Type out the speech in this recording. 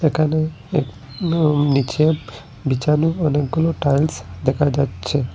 এখানে একদম নীচে বিছানো অনেকগুলো টাইলস দেখা যাচ্ছে।